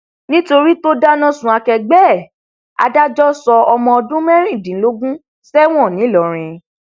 nítorí tó dáná sun akẹgbẹ ẹ adájọ sọ ọmọ ọdún mẹrìndínlógún sẹwọn ńlọrọrin